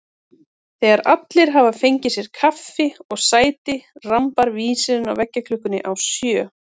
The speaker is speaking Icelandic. Þegar allir hafa fengið sér kaffi og sæti rambar vísirinn á veggklukkunni á sjö.